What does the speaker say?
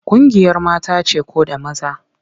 Ƙungiyar mata ce ko da maza?